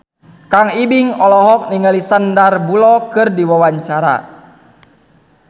Kang Ibing olohok ningali Sandar Bullock keur diwawancara